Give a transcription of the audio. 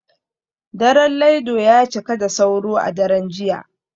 Daren Laido ya cika da sauro a daren jiya